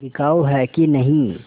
बिकाऊ है कि नहीं